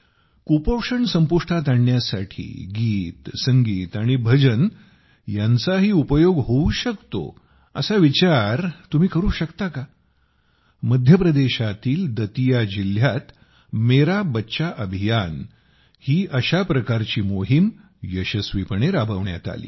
कुपोषण संपुष्टात आणण्यासाठी गीतसंगीत आणि भजन यांचाही उपयोग होऊ शकतो असा विचार तुम्ही करू शकता का मध्य प्रदेशातील दतिया जिल्ह्यात मेरा बच्चा अभियान ही अशा प्रकारची मोहिम यशस्वीपणे राबविण्यात आली